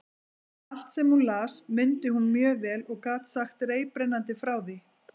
Allt, sem hún las, mundi hún mjög vel og gat sagt reiprennandi frá því.